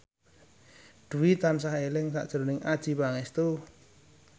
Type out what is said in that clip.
Dwi tansah eling sakjroning Adjie Pangestu